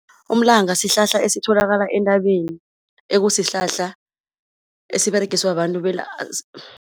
Umlanga sihlahla esitholakala entabeni ekusihlahla esiberegiswa babantu